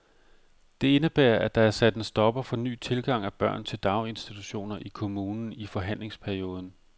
Det indebærer, at der er sat en stopper for ny tilgang af børn til daginstitutioner i kommunen i forhandlingsperioden.